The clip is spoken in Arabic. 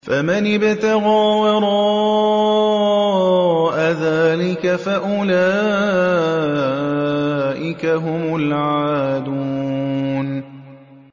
فَمَنِ ابْتَغَىٰ وَرَاءَ ذَٰلِكَ فَأُولَٰئِكَ هُمُ الْعَادُونَ